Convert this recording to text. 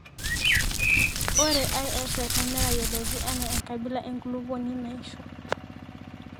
ore ISFM neteyioloki anaa enkabila enkulupuoni naisho